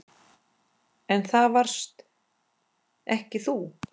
En það varst ekki þú.